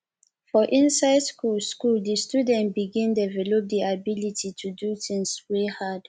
for inside school school di student begin develop di ability to do things wey hard